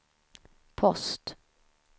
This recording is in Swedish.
post